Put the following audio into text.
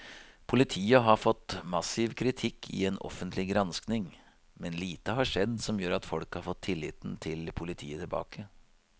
Politiet har fått massiv kritikk i en offentlig granskning, men lite har skjedd som gjør at folk har fått tilliten til politiet tilbake.